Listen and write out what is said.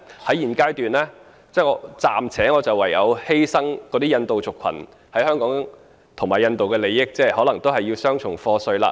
在現階段，我唯有暫時犧牲印度族群在香港和印度的利益，令他們可能要繳付雙重課稅了。